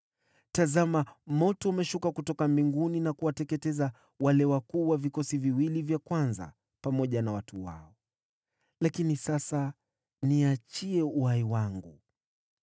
Tazama, moto umeshuka kutoka mbinguni na kuwateketeza wale wakuu wa vikosi viwili vya kwanza pamoja na watu wao. Lakini sasa niachie uhai wangu!”